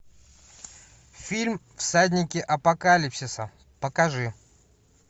фильм всадники апокалипсиса покажи